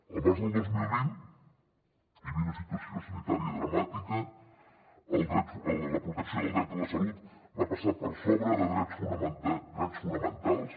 el març del dos mil vint hi havia una situació sanitària dramàtica la protecció del dret a la salut va passar per sobre de drets fonamentals